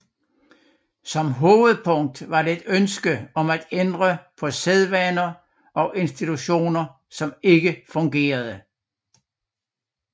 Som hovedpunkt var det et ønske om at ændre på sædvaner og institutioner som ikke fungerede